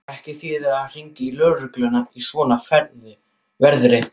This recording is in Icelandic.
Ekki þýðir að hringja í lögregluna í svona veðri.